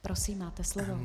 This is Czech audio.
Prosím, máte slovo.